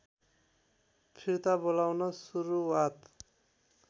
फिर्ता बोलाउन सुरुवात